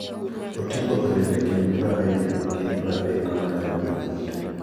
Oting'o olembe kind prariyo gi pradek manyalo bedo matwo.